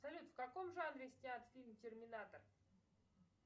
салют в каком жанре снят фильм терминатор